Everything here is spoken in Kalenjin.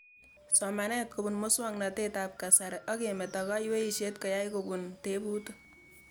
Somanet kopun muswognatet ab kasari ak kemeto kayweishet ko kiyae kopun tebutik